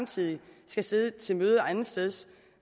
side skal sidde til møder andetsteds